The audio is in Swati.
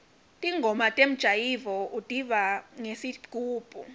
ntingoma temjayivo utiva ngesigubhu